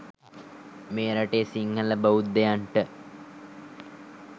මේ රටේ සිංහල බෞද්ධයින්ට